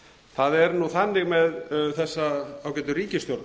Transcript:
það er nú þannig með þessa ágætu ríkisstjórn